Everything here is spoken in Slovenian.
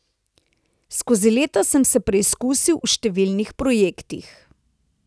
Skozi leta sem se preizkusil v številnih projektih.